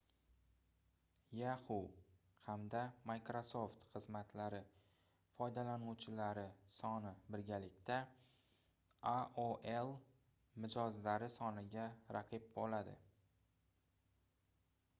yahoo hamda microsoft xizmatlari foydalanuvchilari soni birgalikda aol mijozlari soniga raqib boʻladi